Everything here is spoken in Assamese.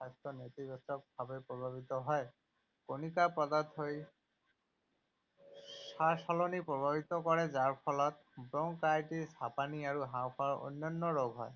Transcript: স্বাস্থ্য নেতিবাচকভাৱে প্ৰভাৱিত হয়। কণিকা পদাৰ্থই শ্বাসনলীপ্ৰভাৱিত কৰে যাৰ ফলত ব্ৰংকাইটিছ, হাপানি, আৰু হাঁওফাঁওৰ অন্যান্য ৰোগ হয়।